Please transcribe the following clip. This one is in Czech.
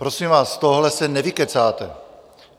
Prosím vás, z tohohle se nevykecáte.